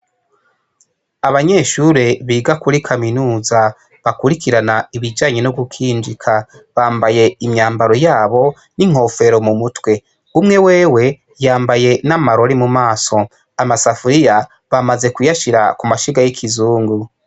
Abanyeshure biga kuri kaminuza bakwirikirana ibijanye no gukinjika bambaye imyambaro yabo , n' inkofero mu mutwe. Umwe wewe yambaye n' amarori mu maso . Amasafuriya bamaze kuyashira ku mashiga y' ikizungu.